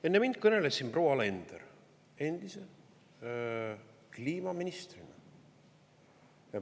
Enne mind kõneles siin proua Alender endise kliimaministrina.